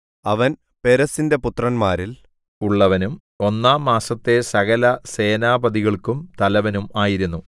അവൻ പേരെസ്സിന്റെ പുത്രന്മാരിൽ ഉള്ളവനും ഒന്നാം മാസത്തെ സകലസേനാപതികൾക്കും തലവനും ആയിരുന്നു